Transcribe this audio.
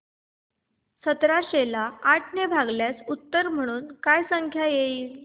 सतराशे ला आठ ने भागल्यास उत्तर म्हणून काय संख्या येईल